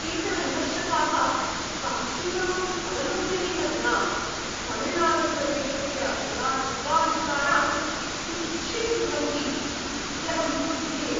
केचन विमर्शकाः साक्षीणाम्‌ अवलोकनेन विना तमिळनाडुप्रदेशस्य पुरातत्त्वाविष्कारान् तुच्छीकुर्वन्ति इति अहं क्रुध्ये।